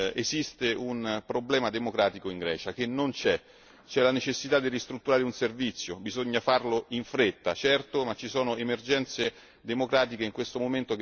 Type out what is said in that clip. c'è la necessità di ristrutturare un servizio, bisogna farlo in fretta, certo, ma ci sono emergenze democratiche in questo momento su cui non è il caso di fare speculazione.